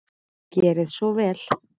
Gerið svo vel.